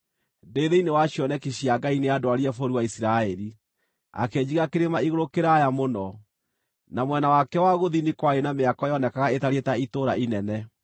Ndĩ thĩinĩ wa cioneki cia Ngai nĩandwarire bũrũri wa Isiraeli, akĩnjiga kĩrĩma-igũrũ kĩraaya mũno, na mwena wakĩo wa gũthini kwarĩ na mĩako yoonekaga ĩtariĩ ta itũũra inene.